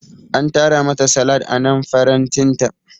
An tara mata salad anan farantinta.